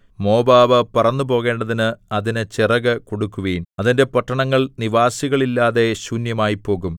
Moab പറന്നുപോകേണ്ടതിന് അതിന് ചിറകു കൊടുക്കുവിൻ അതിന്റെ പട്ടണങ്ങൾ നിവാസികൾ ഇല്ലാതെ ശൂന്യമായിപ്പോകും